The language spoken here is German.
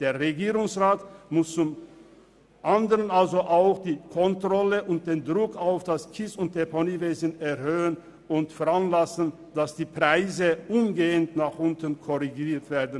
Der Regierungsrat muss zum anderen auch den Druck auf das Kies- und Deponiewesen erhöhen und veranlassen, dass die Preise umgehend nach unten korrigiert werden.